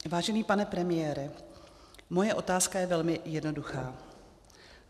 Vážený pane premiére, moje otázka je velmi jednoduchá.